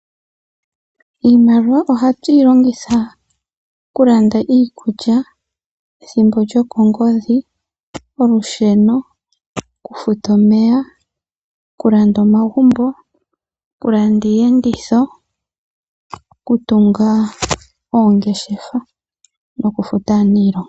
Iimaliwa ohatu yi longitha oku landa iikulya, ethimbi lyokongodhi, olusheno, oku futa omeya, oku landa omagumbo, oku landa iiyenditho, oku tunga, oongeshefa noku futa aanilonga.